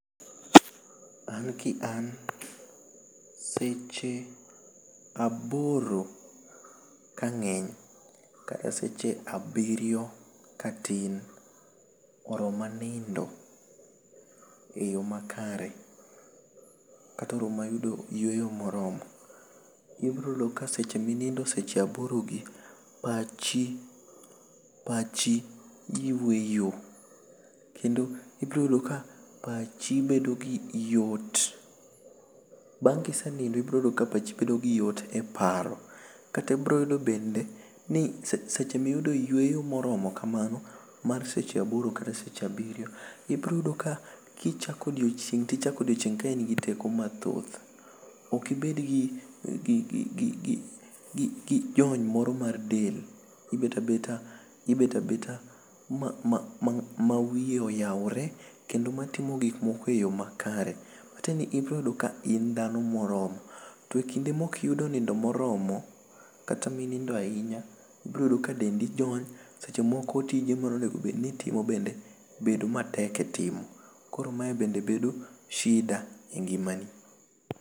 An ki an seche aboro ka ngeny kata seche abiriyo ka tin oroma nindo e yo ma kare kata oroma yudo yueyo ma oromo i biro yudo seche ma i nindo seche a boro gi [r[pachi[r] pachi yueyo kendo i biro yudo ka pachi bedo gi yot bang ka i senindo to ibiro yudo ka pachi bedo gi yot e paro kata i biro yudo bende seche ma i yudo yueyo ma oromo kamano bang seche aboro kata seche abiriyo i biro yudo ka ichako odichieng to i chako odichieng ka in gi teko ma thoth ok i bed gi jong moro ma del beta beta ma wiye oyawre kendo ma timo gik moko e yo ma kare ma tiende ni ibiro yudo ni in dhano ma oromo to e kinde ma ok iyudo nindo ma oromo kata ma i nindo ahinya i biro yudo ka dendi jony seche moko tije ma onego bed ni itimo bedo matek e timo koro ma e bende bedo shida e ngima ni